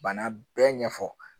Bana bɛɛ ɲɛfɔ